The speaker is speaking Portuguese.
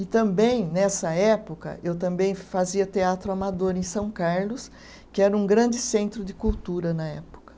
E também, nessa época, eu também fazia teatro amador em São Carlos, que era um grande centro de cultura na época.